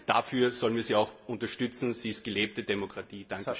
Dafür sollen wir sie auch unterstützen, sie ist gelebte Demokratie.